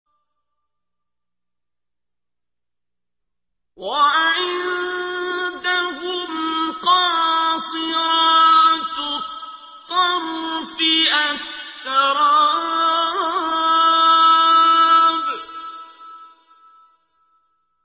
۞ وَعِندَهُمْ قَاصِرَاتُ الطَّرْفِ أَتْرَابٌ